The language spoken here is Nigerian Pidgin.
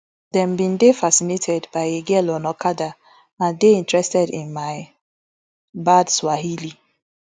dem bin dey fascinated by a girl on okada and dey interested in my bad swahili